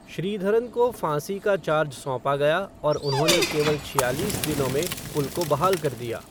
श्रीधरन को फाँसी का चार्ज सौंपा गया और उन्होंने केवल छियालीस दिनों में पुल को बहाल कर दिया।